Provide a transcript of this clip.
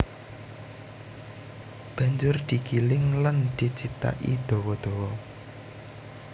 Banjur digiling lan dicithaki dawa dawa